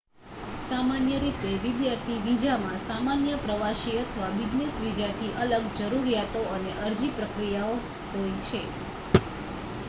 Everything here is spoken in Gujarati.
સામાન્ય રીતે વિદ્યાર્થી વિઝામાં સામાન્ય પ્રવાસી અથવા બિઝનેસ વિઝાથી અલગ જરૂરિયાતો અને અરજી પ્રક્રિયાઓ હોય છે